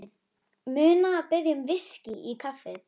Og Syndin mun biðja um VISKÍ í kaffið.